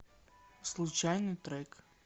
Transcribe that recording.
случайный трек